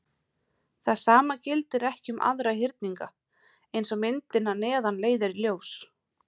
Það sama gildir ekki um aðra hyrninga, eins og myndin að neðan leiðir í ljós.